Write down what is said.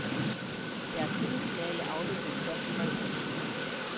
Deres semifinale afvikles først fredag.